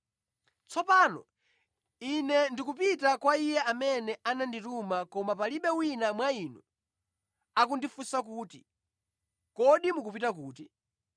“Tsopano Ine ndikupita kwa Iye amene anandituma koma palibe wina mwa inu akundifunsa kuti, ‘Kodi mukupita kuti?’